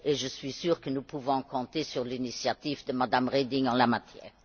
Je suis sûre que nous pouvons compter sur l'initiative de Mme Reding en la matière.